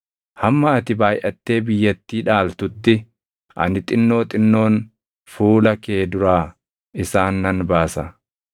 Hamma ati baayʼattee biyyattii dhaaltutti ani xinnoo xinnoon fuula kee duraa isaan nan baasa.